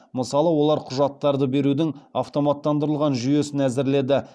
мысалы олар құжаттарды берудің автоматтандырылған жүйесін әзірледі